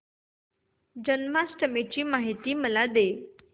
जन्माष्टमी ची माहिती मला दे